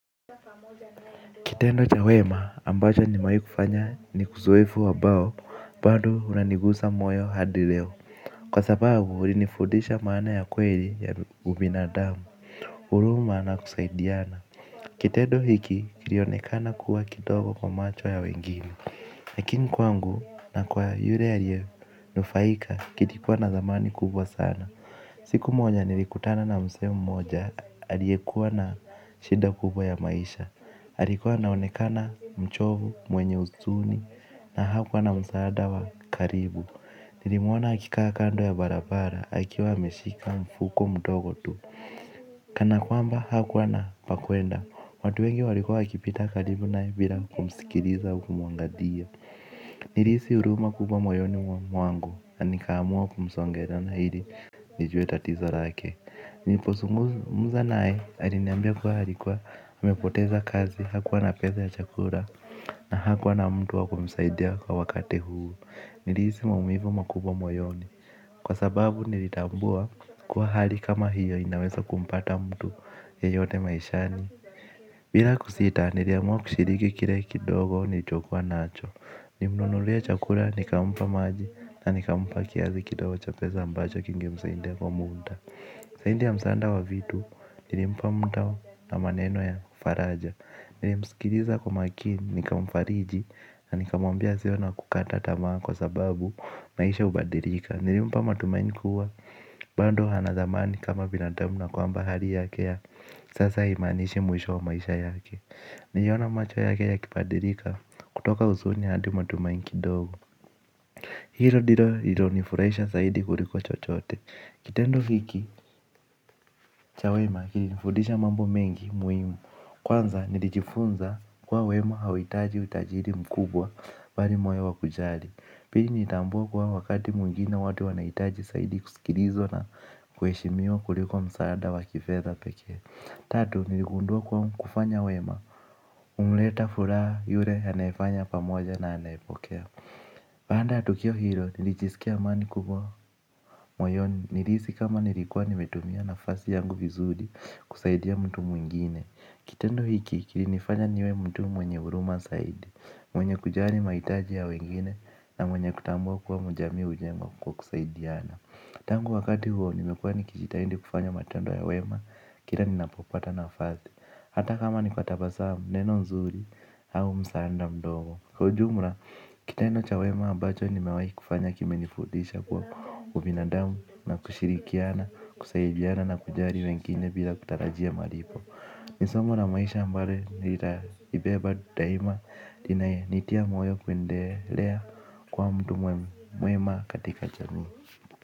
Kitendo cha wema ambacho nimewahi kufanya ni uzoefu ambao bado unanigusa moyo hadi leo. Kwa sababu ulinifundisha maana ya kweli ya ubinadamu, huruma na kusaidiana. Kitendo hiki kilionekana kuwa kidogo kwa macho ya wengine. Lakini kwangu na kwa yule aliyenufaika kilikuwa na dhamani kubwa sana. Siku moja nilikutana na mzee moja aliyekuwa na shida kubwa ya maisha alikuwa anaonekana mchovu mwenye huzuni na hakuwa na msaada wa karibu. Nilimuona akikaa kando ya barabara akiwa ameshika mfuko mdogo tu. Kana kwamba hakuwa na pa kuenda. Watu wengi walikuwa wakipita karibu naye bila kumusikiliza au kumuangalia. Nilihisi huruma kubwa moyoni wa mwangu na nikaamua kumsongezana ili nijue tatizo lake. Nilipozungumza naye aliniambia kuwa alikuwa amepoteza kazi hakuwa na pesa ya chakula na hakuwa na mtu wa kumsaidia kwa wakati huu. Nilihisi maumivu makubwa moyoni. Kwa sababu nilitambua kuwa hali kama hiyo inaweza kumpata mtu yeyote maishani. Bila kusita niliamua kushiriki kile kidogo nilichokuwa nacho. Nilimnunulia chakula nikampa maji na nikampa kiasi kidogo cha pesa ambacho kingemsaidia kwa muda zaidi ya msaada wa vitu, nilimpa mtao na maneno ya faraja. Nilimsikiliza kwa makini, nika mfariji, na nikamwambia asiwe wa kukata tamaa kwa sababu maisha hubadilika. Nilimpa matumaini kuwa, bado ana dhamani kama binadamu na kwamba hali yake ya sasa haimaanishi mwisho wa maisha yake. Niliona macho yake yakibadilika, kutoka huzuni hadi matumaini kidogo. Hilo ndilo lilonifurahisha zaidi kuliko chochote. Kitendo hiki cha wema kilinifundisha mambo mengi muhimu. Kwanza nilijifunza kuwa wema hauhitaji utajiri mkubwa bali moyo wa kujali. Pili nilitambua kwamba wakati mwingine watu wanahitaji zaidi kusikilizwa na kuheshimiwa kuliko msaada wa kifedha pekee. Tatu niligundua kuwa kufanya wema humleta furaha yule anayefanya pamoja na anayepokea. Baada ya tukio hilo, nilijisikia amani kubwa moyoni nilihisi kama nilikuwa nimetumia nafasi yangu vizuri kusaidia mtu mwingine. Kitendo hiki, kilinifanya niwe mtu mwenye huruma zaidi, mwenye kujali mahitaji ya wengine na mwenye kutambua kuwa ujamii hujengwa kwa kusaidiana. Tangu wakati huo, nimekuwa nikijitahidi kufanya matendo ya wema, kila ninapopata nafasi. Hata kama ni kwa tabasamu neno nzuri, au msaada mdogo. Kwa ujumla, kitendo cha wema ambacho nimewahi kufanya kime nifundisha kuwa ubinadamu na kushirikiana, kusaidiana na kujali wengine bila kutarajia malipo. Ni somo la maisha ambalo nilitalibeba daima, inayenitia moyo kuendelea kuwa mtu mwema katika jamii.